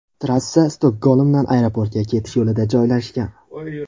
Trassa Stokgolmdan aeroportga ketish yo‘lida joylashgan.